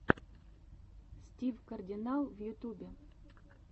стив кардинал в ютубе